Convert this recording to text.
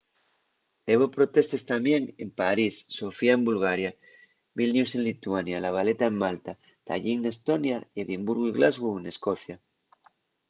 hebo protestes tamién en parís sofía en bulgaria vilnius en lituania la valeta en malta tallín n’estonia y edimburgu y glasgow n’escocia